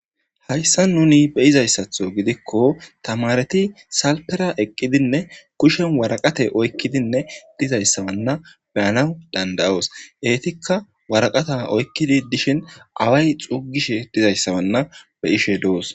hayssa nuni beyizayssatho gidikko tamareti salpera eqqidinne kushen waraqate oykkidinne dizayssa wanna beyanaw dandayoos eetikka waraqata oykkidi dishin away xuugishe dizayssa wanna be7ishe de7oos